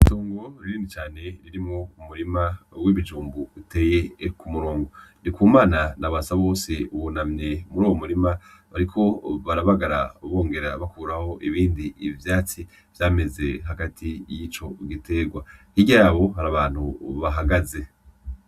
Itongo rinini cane ririmwo umurima uteye ku murongo . Ndikumana na Basabose bariko barabagara bongera bakuramwo ibindi vyatsi vyameze hagati mubiterwa, hirya y’aho hari abandi bahagaze